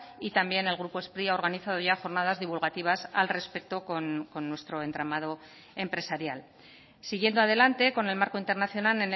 y también el grupo spri ha organizado ya jornadas divulgativas al respecto con nuestro entramado empresarial siguiendo adelante con el marco internacional